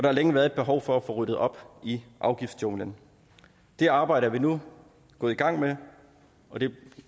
har længe været et behov for at få ryddet op i afgiftsjunglen det arbejde er vi nu gået i gang med og det